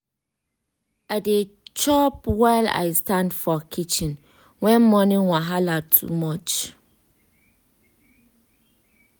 i dey chop while i stand for kitchen when morning wahala too much.